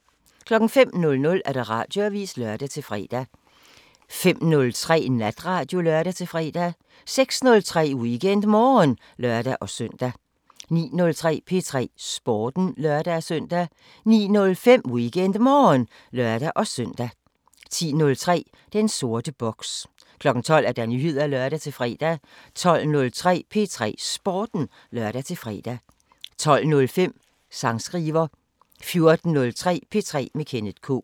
05:00: Radioavisen (lør-fre) 05:03: Natradio (lør-fre) 06:03: WeekendMorgen (lør-søn) 09:03: P3 Sporten (lør-søn) 09:05: WeekendMorgen (lør-søn) 10:03: Den sorte boks 12:00: Nyheder (lør-fre) 12:03: P3 Sporten (lør-fre) 12:05: Sangskriver 14:03: P3 med Kenneth K